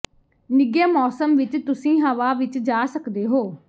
ਨਿੱਘੇ ਮੌਸਮ ਵਿੱਚ ਤੁਸੀਂ ਹਵਾ ਵਿੱਚ ਜਾ ਸਕਦੇ ਹੋ